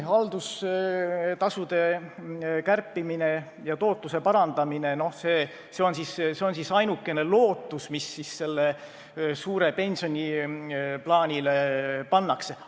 Haldustasude kärpimine ja tootluse parandamine – see on siis ainukene lootus, mis selle suure pensioniplaaniga on seotud.